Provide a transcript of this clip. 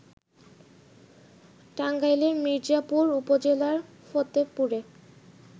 টাঙ্গাইলের মির্জাপুর উপজেলার ফতেপুরে